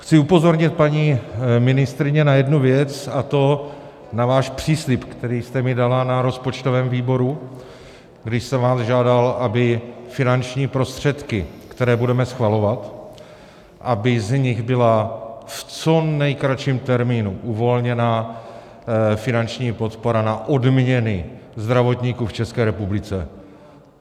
Chci upozornit, paní ministryně, na jednu věc, a to na váš příslib, který jste mi dala na rozpočtovém výboru, kdy jsem vás žádal, aby finanční prostředky, které budeme schvalovat, aby z nich byla v co nejkratším termínu uvolněna finanční podpora na odměny zdravotníků v České republice.